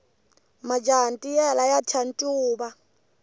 majaha ntiyela ya thya ncuva